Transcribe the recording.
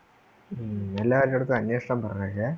മ്മ് എല്ലാരേടത്തും അന്നേഷണം പറഞ്ഞേകെ